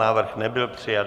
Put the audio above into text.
Návrh nebyl přijat.